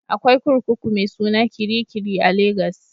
Akwai kurkuku mai suna Kirikiri a Legas